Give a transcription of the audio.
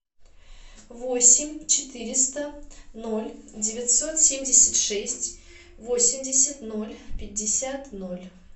восемь четыреста ноль девятьсот семьдесят шесть восемьдесят ноль пятьдесят ноль